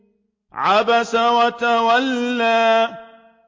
عَبَسَ وَتَوَلَّىٰ